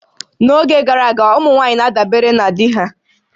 N'oge gara aga, ụmụ nwaanyị na-adabere na di ha